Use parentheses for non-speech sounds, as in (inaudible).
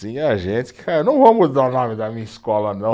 Tinha gente que, (unintelligible) não vou mudar o nome da minha escola não.